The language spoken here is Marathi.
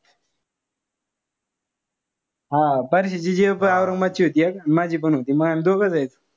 हा परश्याची gf औरंगाबादची होती एक. माझीपण होती. आम्ही दोघ जायचो.